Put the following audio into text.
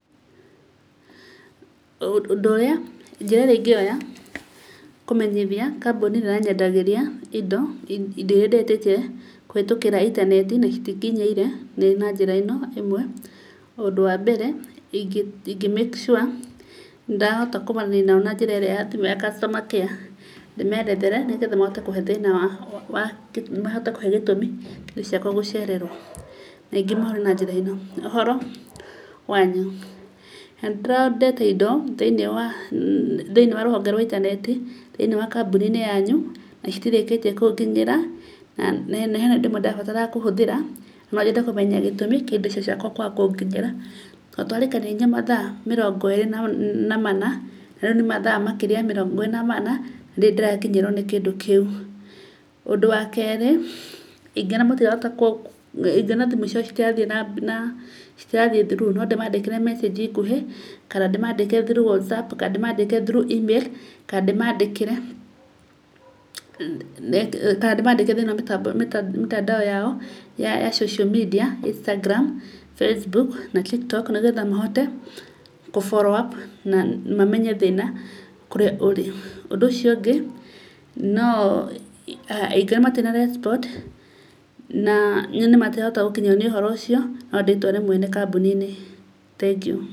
Ũndũ ũrĩa, njĩra ĩrĩa ingĩoya kũmenyithia kambuni ĩrĩa ĩranyendagĩria indo, indo iria ndĩretĩtie kũhĩtũkĩra intaneti, na itinginyĩire, nĩ na njĩra ĩno ĩmwe. Ũndũ wa mbere, ingĩ make sure nĩndahota kũmaranĩria nao na njĩra ĩrĩa ya thimũ ya customer care, ndĩmerethere nĩgetha mahote kũhe thĩna wa, mahote kũhe gĩtũmi kĩa indo ciakwa gũcererwo. Ingĩmahũrĩra na njĩra ĩno, ũhoro wanyu? nĩndĩra ondete indo, thĩiniĩ wa rũhonge rwa intaneti, thĩinĩ wa kambuni-inĩ yanyu nacitirĩkĩtie kũnginyĩra, na hena indo imwe ndĩrabatara kũhũthĩra, nonyende kũmenya gĩtũmi kĩa indo icio ciakwa kwaga kũnginyĩra tondũ tũrarĩkanĩire nginya mathaa mĩrongo ĩrĩ na mana, na rĩu nĩ mathaa makĩria ya mĩrongo ĩrĩ na mana, ndirĩ ndĩrakinyĩrwo nĩ kĩndũ kĩu. Ũndũ wa kerĩ, ingĩona thimũ ciao citirathiĩ through , nondĩmandĩkĩre mecĩnji nguhĩ, kana ndĩmandĩkĩre through whatsApp kana ndĩmandĩkĩre through email kana ndĩmandĩkĩre thĩiniĩ wa mĩtandao yao, ya social media instagram, facebook na tiktok, nĩgetha mahote kũ follow up na mamenye thĩna kũrĩa ũrĩ. Ũndũ ũcio ũngĩ, no, ingĩona matina respond na nyone matirahota gũkinyĩrwo nĩ ũhoro ũcio, nondĩtware mwene kambuni-inĩ. Thengiũ.